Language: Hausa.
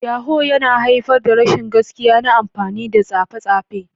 Yahoo + yana haifar da rashin gaskiya na amfani da tsafai tsafai.